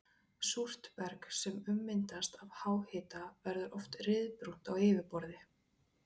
Súrt berg sem ummyndast af háhita verður oft ryðbrúnt á yfirborði.